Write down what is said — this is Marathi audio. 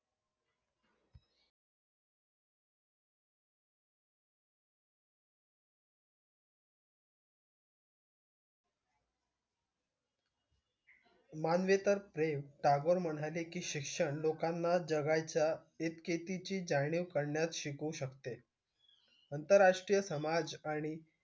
मानले तर प्रेम टागोर म्हणाले की शिक्षण लोकांना जगायच्या एकेतीची जाणीव करण्यास शिकवू शकते आंतरराष्ट्रीय समाज आणि